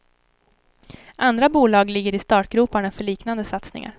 Andra bolag ligger i startgroparna för liknande satsningar.